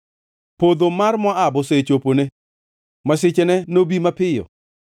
Podho mar Moab osechopone; masichene nobi mapiyo.